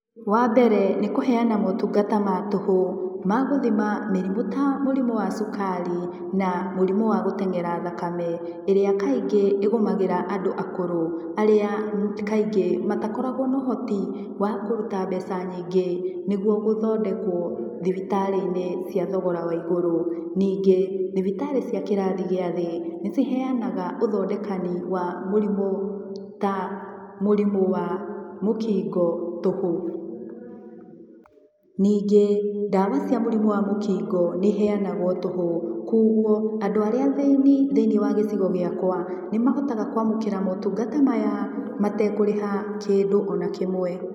Wambere nĩ kũhenyana motungata ma tũhũ magũthima mĩrimũ ta mũrimũ wa cukari na mũrimũ wa gũtenyera thakame ĩrĩa kaingĩ ĩgũmagĩra andũ akũrũ arĩa kaingĩ matakoragwo na uhoti wa kũruta mbeca nyingĩ nĩguo gũthondekwo thibitarĩ-inĩ cia thogora wa igũrũ. Ningĩ thibitarĩ cia kĩrathi gĩa thĩ nĩ ciheyanaga ũthondekani wa mũrimũ ta mũrimũ wa mũkingo tũhũ. Ningĩ ndawa cia mũrimũ wa mũkingo nĩ iheyanagwo tũhũ kogwo andũ arĩa athĩni thĩiniĩ wa gĩcigo gĩakwa nĩ mahotaga kwamũkĩra motungata maya matekũrĩha kĩndũ o na kĩmwe.